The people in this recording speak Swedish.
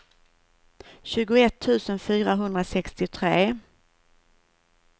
tjugoett tusen fyrahundrasextiotre